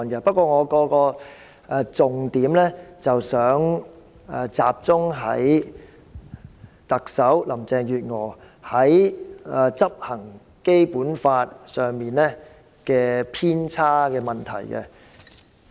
不過，我的重點集中在特首林鄭月娥在執行《基本法》上的偏差。